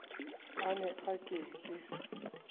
a ne a ke ke